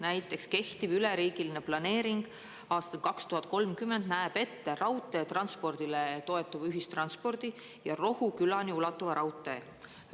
Näiteks kehtiv üleriigiline planeering aastani 2030 näeb ette raudteetranspordile toetuva ühistranspordi ja Rohukülani ulatuva raudtee.